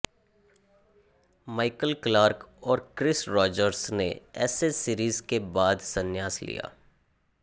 Michael Clarke और Chris Rogers ने Ashes series के बाद संन्यास लिया